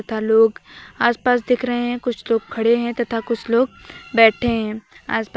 तथा लोग आसपास दिख रहे हैं कुछ लोग खड़े हैं तथा कुछ लोग बैठे हैं आस पास--